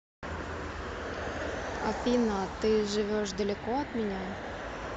афина ты живешь далеко от меня